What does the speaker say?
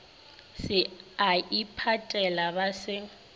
se a iphatela ba se